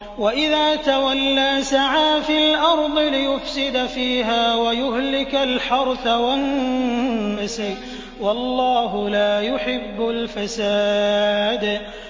وَإِذَا تَوَلَّىٰ سَعَىٰ فِي الْأَرْضِ لِيُفْسِدَ فِيهَا وَيُهْلِكَ الْحَرْثَ وَالنَّسْلَ ۗ وَاللَّهُ لَا يُحِبُّ الْفَسَادَ